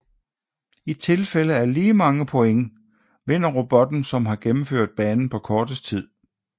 I tilfælde af lige mange points vinder robotten som har gennemført banen på kortest tid